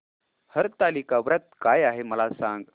हरतालिका व्रत काय आहे मला सांग